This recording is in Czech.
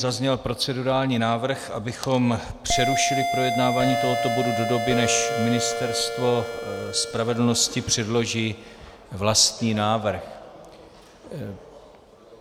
Zazněl procedurální návrh, abychom přerušili projednávání tohoto bodu do doby, než Ministerstvo spravedlnosti předloží vlastní návrh.